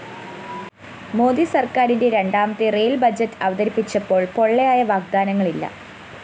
മോദി സര്‍ക്കാരിന്റെ രണ്ടാമത്തെ rail‍ budget അവതരിപ്പിച്ചപ്പോള്‍ പൊള്ളയായ വാഗ്ദാനങ്ങളില്ല